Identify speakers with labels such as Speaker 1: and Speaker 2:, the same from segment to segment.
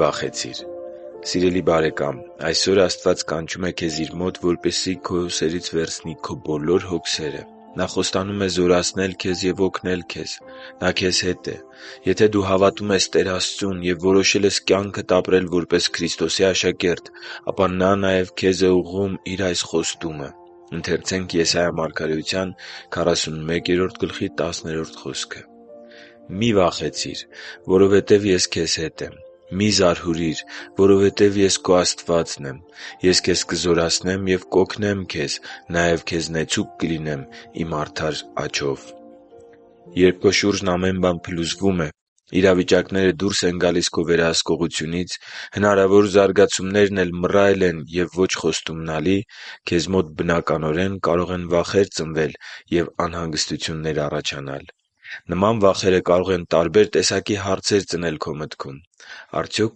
Speaker 1: վախեցիր Սիրելի՛ բարեկամ, այսօր Աստված կանչում է քեզ Իր մոտ, որպեսզի քո ուսերից վերցնի քո բոլոր հոգսերը: Նա խոստանում է զորացնել քեզ և օգնել քեզ: Նա քեզ հետ է: Եթե դու հավատում ես Տեր Աստծուն և որոշել ես կյանքդ ապրել որպես Քրիստոսի աշակերտ, ապա Նա նաև քեզ է ուղղում Իր այս խոստումը. «Մի՛ վախեցիր, որովհետև Ես քեզ հետ եմ, մի՛ զարհուրիր, որովհետև Ես քո Աստվածն եմ։ Ես քեզ կզորացնեմ և կօգնեմ քեզ, նաև քեզ նեցուկ կլինեմ Իմ արդար աջով»(Եսայիա 41.10)։ Երբ քո շուրջն ամեն բան փլուզվում է, իրավիճակները դուրս են գալիս քո վերահսկողությունից, հնարավոր զարգացումներն էլ մռայլ են ու ոչ խոստումնալի, քեզ մոտ բնականորեն կարող են վախեր ծնվել և անհանգստություններ առաջանալ։ Նման վախերը կարող են տարբեր տեսակի հարցեր ծնել քո մտքում․ «Արդյոք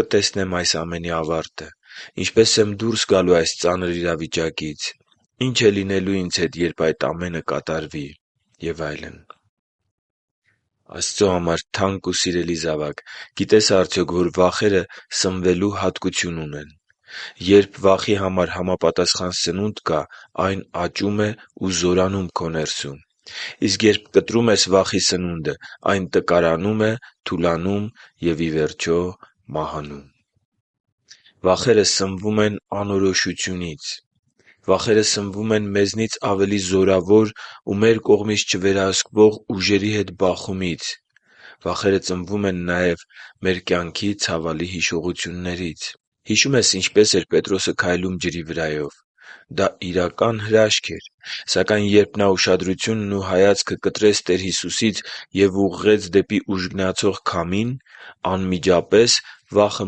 Speaker 1: կտեսնե՞մ այս ամենի ավարտը: Ինչպե՞ս եմ ես դուրս գալու այս ծանր իրավիճակից: Ի՞նչ է լինելու ինձ հետ, երբ այդ ամենը կատարվի»։ Աստծո համար թանկ ու սիրելի՛ զավակ, գիտե՞ս արդյոք, որ վախերը սնվելու հատկություն ունեն։ Երբ վախի համար համապատասխան սնունդ կա, այն աճում է ու զորանում քո ներսում։ Իսկ երբ կտրում ես վախի սնունդը, այն տկարանում է, թուլանում և, ի վերջո, մահանում։ Վախերը սնվում են անորոշությունից, մեզնից ավելի զորավոր ու մեր կողմից չվերահսկվող ուժերի հետ բախումից և մեր կյանքի ցավալի հիշողություններից։ Հիշո՞ւմ ես՝ ինչպես էր Պետրոսը քայլում ջրի վրայով... Դա իրական հրաշք էր։ Սակայն երբ նա ուշադրությունն ու հայացքը կտրեց Տեր Հիսուսից և ուղղեց դեպի ուժգնացող քամին, անմիջապես վախը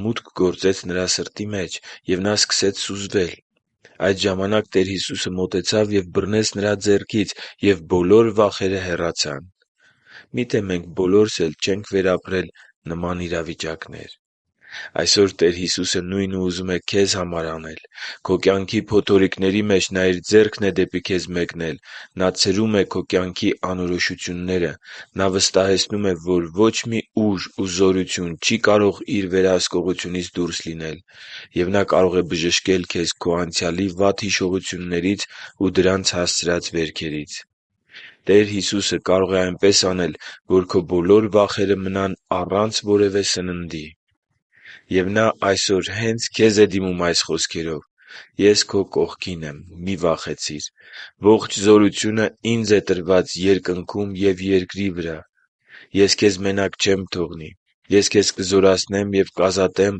Speaker 1: մուտք գործեց նրա սրտի մեջ, և նա սկսեց սուզվել: Այդ ժամանակ Տեր Հիսուսը մոտեցավ ու բռնեց նրա ձեռքից, և բոլոր վախերը հեռացան։ Միթե՞ մենք բոլորս էլ չենք վերապրել նման իրավիճակներ․․․ Այսօր Տեր Հիսուսը նույնը ուզում է քեզ համար անել։ Քո կյանքի փոթորիկների մեջ Նա Իր ձեռքն է դեպի քեզ մեկնել։ Նա ցրում է քո կյանքի անորոշությունները։ Նա վստահեցնում է, որ ոչ մի ուժ ու զորություն չի կարող Իր վերահսկողությունից դուրս լինել։ Եվ Նա կարող է բժշկել քեզ քո անցյալի վատ հիշողություններից ու դրանց հասցրած վերքերից։ Տեր Հիսուսը կարող է այնպես անել, որ քո բոլոր վախերը մնան առանց որևէ սննդի։ Եվ Նա այսօր հե՛նց քեզ է դիմում այս խոսքերվ. «Ես քո կողքին եմ։ Մի՛ վախեցիր։ Ողջ զորությունը տրվել է Ինձ Երկնքում և երկրի վրա: Ես քեզ մենակ չեմ թողնի։ Ես քեզ կզորացնեմ և կազատեմ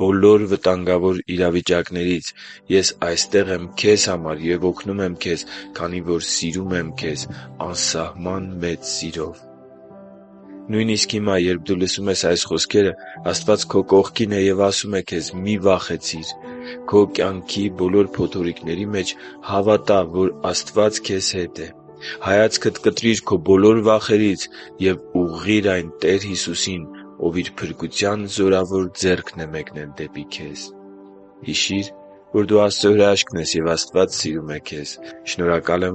Speaker 1: բոլոր վտանգավոր իրավիճակներից։ Ես այստեղ եմ քեզ համար և օգնում եմ քեզ, քանի որ սիրում եմ քեզ անսահման մեծ սիրով․․․»։ Նույնիսկ հիմա, երբ դու լսում ես այս խոսքերը, Աստված քո կողքին է և ասում է քեզ՝ «Մի՛ վախեցիր»: Քո կյանքի բոլոր փոթորիկների մեջ հավատա՛, որ Աստված քեզ հետ է.․․ Հայացքդ կտրի՛ր քո բոլոր վախերից և ուղղի՛ր այն Տեր Հիսուսին, Ով Իր փրկության զորավոր ձեռքն է մեկնել դեպի քեզ․․․ Հիշի՛ր, որ դու Աստծո հրաշքն ես, և Աստված սիրում է քեզ։ Շնորհակալ եմ,